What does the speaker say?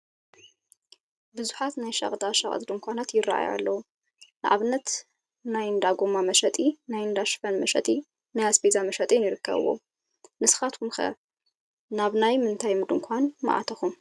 ብዙሓት ናይ ሸቐጣሸቐጥ ድንኳናት ይራኣዩ ኣለው፡፡ ንኣብነት ናይ እንዳ ጎማ መሸጢ፣ ናይ እንዳ ሽፈን መሸጢን ናይ ኣስቤዛን ይርከብዎም፡፡ ንስኻትኩም ከ ናብ ናይ ምንታይ ድንኳን ምኣተኹም?